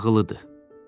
Qayğılıdır.